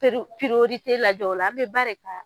Peru lajɛ o la an bɛ ba de ta